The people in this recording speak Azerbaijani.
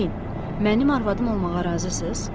Deyin, mənim arvadım olmağa razısız?